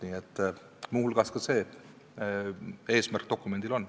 Nii et muu hulgas see eesmärk dokumendil on.